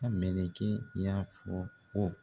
ka mɛlɛkɛ y'a fɔ ko